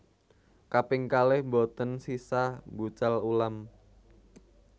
Kaping kalih mboten sisah mbucal ulam